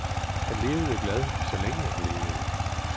Han levede glad, så længe han levede.